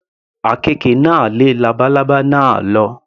Àkekè náà lé labalábá náà lọ.